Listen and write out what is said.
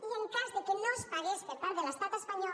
i en cas que no es pagués per part de l’estat espanyol